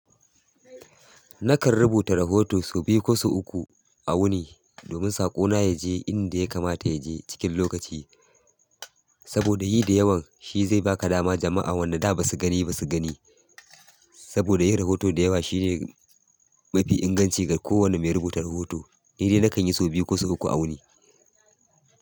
Na kan rubuta rahoto sau biyu ko sau uku a wuni domin saƙona ya je inda ya kamata ya je cikin lokaci. Saboda yi da yawan shi zai baka dama jama'a wanda da ba su gani ba su gani. Saboda yi rahoto da yawa shine mafi inganci ga kowane mai rubuta rahoto. Ni dai nakan yi sau biyu ko sau uku a wuni.